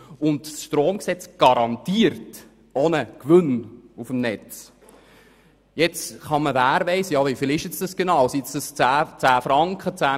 Das Stromgesetz garantiert somit auch einen Gewinn auf dem Netz.